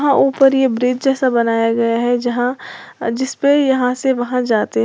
यहां ऊपर यह ब्रिज जैसा बनाया गया है जहां जिस पे यहां से वहां जाते हैं।